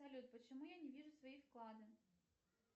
салют почему я не вижу свои вклады